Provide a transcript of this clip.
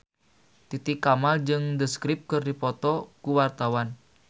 Titi Kamal jeung The Script keur dipoto ku wartawan